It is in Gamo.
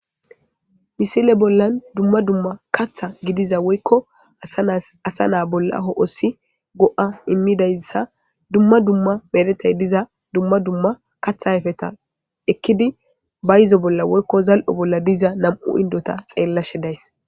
misile bollan dumma dumma katha gidiza woykko asa naa bolla ho7osi go7a immidayssa dumma dumma meretay diza dumma dumma katha ayfeta ekkidi bayizo bolla woykko zal7o bolla diza nam7u indota xeellashe days